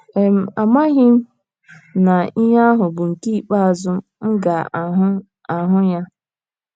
um Amaghị m na ihe ahụ bụ nke ikpeazụ m ga - ahụ - ahụ ya um.